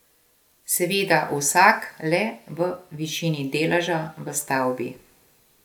Seveda vsak le v višini deleža v stavbi.